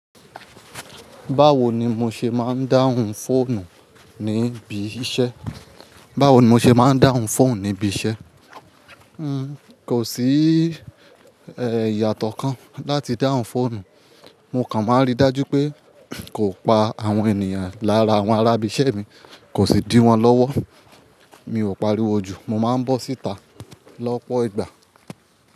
Báwo ni mo ṣe máa ń dáhùn fóònù níbi iṣẹ́? Báwo ni mo ṣe máa ń dáhùn fóònù níbi iṣẹ́? Kò sí ìyàtọ̀ kan láti dáhùn fóònù. Mo kàn máa ń rí dájú pé kò pa àwọn ènìyàn lára àwọn arábìṣẹ́ mi, kò sì dí wọ́n lọ́wọ́. Mi ò pariwo jù, mo máa ń bọ́ síta lọ́pọ̀ ìgbà.